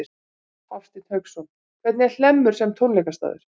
Hafsteinn Hauksson: Hvernig er Hlemmur sem tónleikastaður?